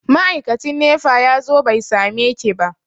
Ma'aikacin nefa ya zo bai sameki ba.